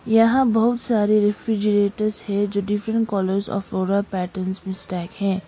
यहां बहुत सारी रेफ्रिजरेटर है जो डिफरेंट कलर्स आ फ्लोरल पैटर्न्स मे स्टैक है।